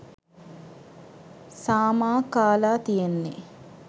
සාමා කාලා තියෙන්නේ